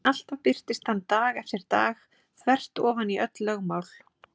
En alltaf birtist hann dag eftir dag þvert ofan í öll lögmál.